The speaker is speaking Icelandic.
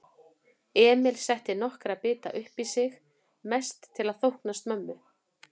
Emil setti nokkra bita uppí sig, mest til að þóknast mömmu.